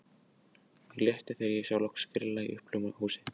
Mér létti þegar ég sá loks grilla í uppljómað húsið.